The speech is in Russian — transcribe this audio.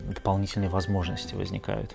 дополнительные возможности возникают